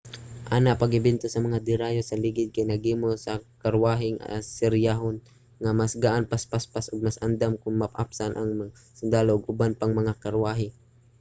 ana pag-imbento sa mga derayos nga ligid kay naghimo sa mga karwaheng asiryanhon nga mas gaan mas paspas ug mas andam aron maapsan ang mga sundalo ug uban pang mga karwahe